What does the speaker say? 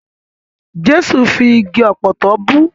Jẹ́sù fi igi ọ̀pọ̀tọ́ bú.